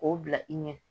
K'o bila i ɲɛ